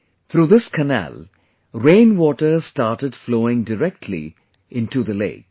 Through this canal, rainwater started flowing directly into the lake